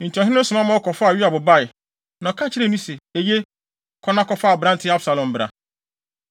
Enti ɔhene no soma ma wɔkɔfaa Yoab bae, na ɔka kyerɛɛ no se, “Eye, kɔ na kɔfa aberante Absalom bra.”